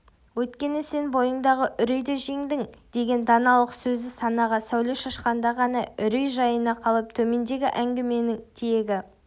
өйткені сен бойыңдағы үрейді жеңдің деген даналық сөзі санаға сәуле шашқанда ғана үрей жайына қалып төмендегі әңгіменің тиегі